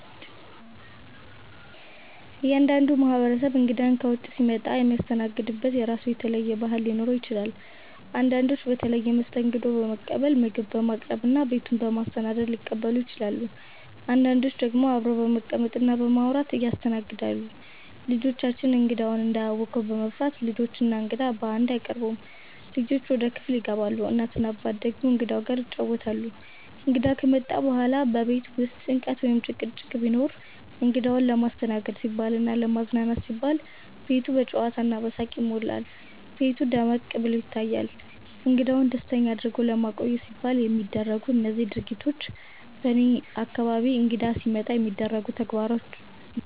እያንዳንዱ ማህበረሰብ እንግዳ ከውጭ ሲመጣ የሚያስተናግድበት የራሱ የተለየ ባህል ሊኖረው ይችላል። አንዳንዶች በተለየ መስተንግዶ በመቀበል፣ ምግብ በማቅረብ እና ቤቱን በማሰናዳት ሊቀበሉ ይችላሉ። አንዳንዶች ደግሞ አብረው በመቀመጥ እና በማውራት ያስተናግዳሉ። ልጆቻችን እንግዳውን እንዳያውኩ በመፍራት፣ ልጆች እና እንግዳው በአንድ አይቀርቡም፤ ልጆች ወደ ክፍል ይገባሉ፣ እናት እና አባት ደግሞ እንግዳው ጋር ይጫወታሉ። እንግዳ ከመጣ በኋላ በቤት ውስጥ ጭንቀት ወይም ጭቅጭቅ ቢኖርም፣ እንግዳውን ለማስተናገድ ሲባልና ለማዝናናት ሲባል ቤቱ በጨዋታ እና በሳቅ ይሞላል፤ ቤቱ ደመቅ ብሎ ይታያል። እንግዳውን ደስተኛ አድርጎ ለማቆየት ሲባል የሚደረጉት እነዚህ ድርጊቶች በእኔ አካባቢ እንግዳ ሲመጣ የሚደረጉ ተግባሮች ናቸው።